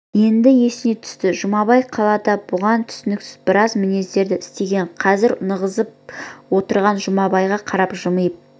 енді есіне түсті жұмабай қалада бұған түсініксіз біраз мінездер істеген қазір нығызсып отырған жұмабайға қарап жымиып